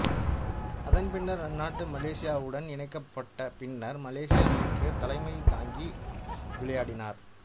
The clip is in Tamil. அதன் பின்னர் அந்நாடு மலேசியாவுடன் இணைக்கப்பட்ட பின்னர் மலேசிய அணிக்கும் தலைமை தாங்கி விளையாடினார்